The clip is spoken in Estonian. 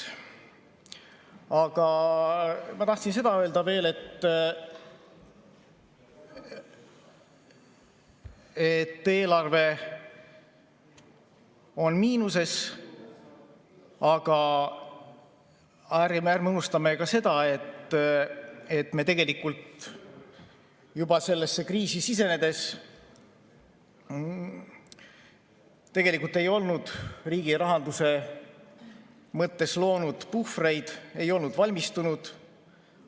Aga ma tahtsin öelda veel seda, et eelarve on miinuses, aga ärme unustame ka seda, et me tegelikult juba sellesse kriisi sisenedes ei olnud riigirahanduse mõttes loonud puhvreid, ei olnud selleks valmistunud.